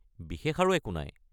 বিশেষ আৰু একো নাই।